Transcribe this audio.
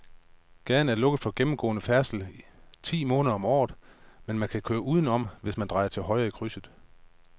Gaden er lukket for gennemgående færdsel ti måneder om året, men man kan køre udenom, hvis man drejer til højre i krydset.